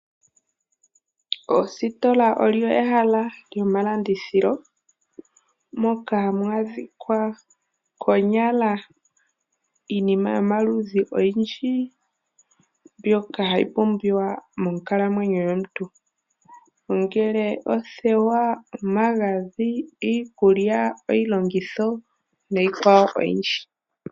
Oositola olyo ehala lyomalandithilo, moka hamu adhika konyala iinima yomaludhi ogendji mbyoka hayi pumbiwa monkalamwenyo yomuntu, ongele othewa, omagadhi, iikulya, iilongitho nayi kwawo oyindji.